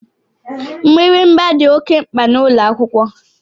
Mgbịrịgba dị oké mkpa n'ụlọakwụkwọ